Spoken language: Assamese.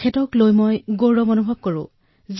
তেওঁক লৈ মই গৌৰৱ কৰো